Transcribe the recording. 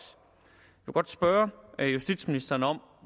spørge justitsministeren om